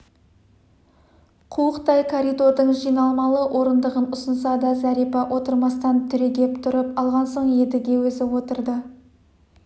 қуықтай коридордың жиналмалы орындығын ұсынса да зәрипа отырмастан түрегеп тұрып алған соң едіге өзі отырды